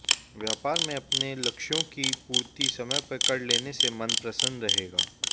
व्यापार में अपने लक्ष्यों की पूर्ति समय पर कर लेने से मन प्रसन्न रहेगा